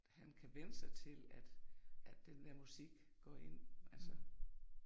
Han kan vænne sig til at at den der musik går ind altså